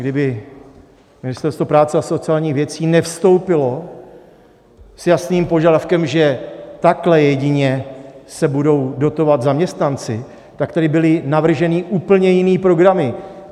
Kdyby Ministerstvo práce a sociálních věcí nevstoupilo s jasným požadavkem, že takhle jedině se budou dotovat zaměstnanci, tak tady byly navržené úplně jiné programy.